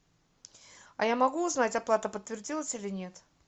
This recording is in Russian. а я могу узнать оплата подтвердилась или нет